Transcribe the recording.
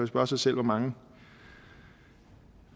spørge sig selv hvor mange